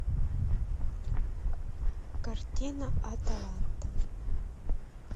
картина аталанта